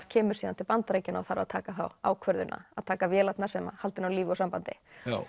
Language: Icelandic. kemur síðan til Bandaríkjanna og þarf að taka þá ákvörðun að taka vélarnar sem halda henni á lífi úr sambandi